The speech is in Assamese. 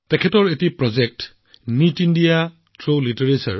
তেওঁ এটা প্ৰজেক্ট কৰিছে নিট ইণ্ডিয়া থ্ৰু লিটাৰেচাৰ